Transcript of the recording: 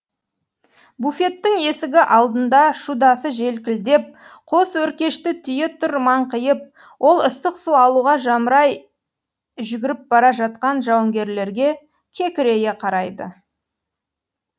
буфеттің есігі алдында шудасы желкілдеп қос өркешті түйе тұр маңқиып ол ыстық су алуға жамырай жүгіріп бара жатқан жауынгерлерге кекірейе қарайды